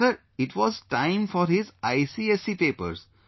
And Sir, it was time for his ICSE papers